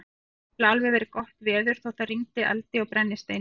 Það gat nefnilega alveg verið gott veður þótt það rigndi eldi og brennisteini.